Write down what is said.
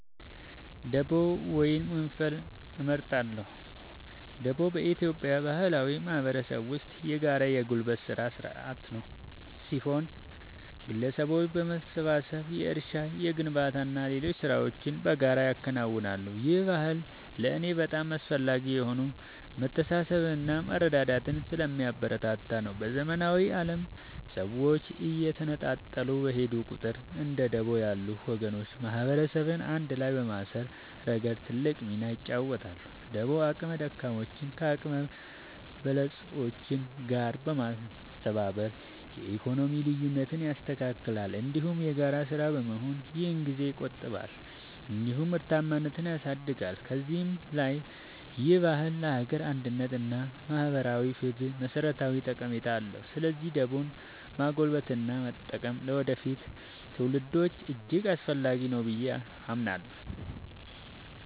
ደቦ ወይም ወንፈል እመርጣለሁ። ደቦ በኢትዮጵያ ባህላዊ ማህበረሰብ ውስጥ የጋራ የጉልበት ሥራ ሥርዓት ሲሆን፣ ግለሰቦች በመሰባሰብ የእርሻ፣ የግንባታና ሌሎች ሥራዎችን በጋራ ያከናውናሉ። ይህ ባህል ለእኔ በጣም አስፈላጊ የሆነው መተሳሰብንና መረዳዳትን ስለሚያበረታታ ነው። በዘመናዊው ዓለም ሰዎች እየተነጣጠሉ በሄዱ ቁጥር፣ እንደ ደቦ ያሉ ወጎች ማህበረሰብን አንድ ላይ በማሰር ረገድ ትልቅ ሚና ይጫወታሉ። ደቦ አቅመ ደካሞችን ከአቅመ በለጾች ጋር በማስተባበር የኢኮኖሚ ልዩነትን ያስተካክላል፤ እንዲሁም የጋራ ሥራ በመሆኑ ጊዜን ይቆጥባል እንዲሁም ምርታማነትን ያሳድጋል። ከዚህም በላይ ይህ ባህል ለሀገር አንድነት እና ለማህበራዊ ፍትህ መሠረታዊ ጠቀሜታ አለው። ስለዚህ ደቦን ማጎልበትና መጠበቅ ለወደፊት ትውልዶች እጅግ አስፈላጊ ነው ብዬ አምናለሁ።